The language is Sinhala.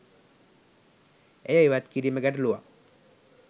එය ඉවත් කිරීම ගැටලුවක්.